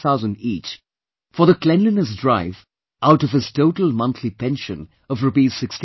5,000/ each for the cleanliness drive out of his total monthly pension of Rs